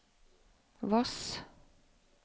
Voss